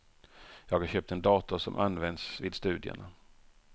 Jag har köpt en dator som används vid studierna.